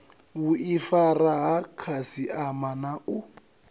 vhuifari ha khasiama na u